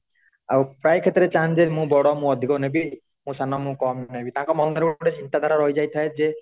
ଆଉ ପ୍ରାୟ କ୍ଷେତ୍ର ରେ ଚାହାନ୍ତି ମୁଁ ବଡ ମୁଁ ଅଧିକ ନେବି ମୁଁ ସାନ ମୁଁ କମ ନେବି ତାଙ୍କ ମନରେ ଗୋଟେ ଚିନ୍ତା ଧାରା ରହି ଯାଇ ଥାଏ ଯେ